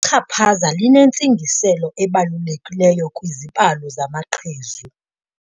Ichaphaza linentsingiselo ebalulekileyo kwizibalo zamaqhezu.